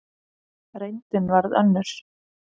Reyndin varð önnur.